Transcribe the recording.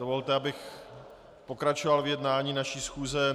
Dovolte, abych pokračoval v jednání naší schůze.